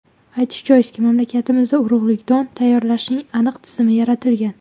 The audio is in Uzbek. Aytish joizki, mamlakatimizda urug‘lik don tayyorlashning aniq tizimi yaratilgan.